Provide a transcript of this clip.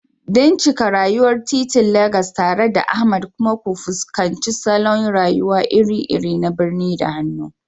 Bincika rayuwar titin Legas tare da Ahmad kuma ku fuskanci salon rayuwa iri-iri na birni da hannu.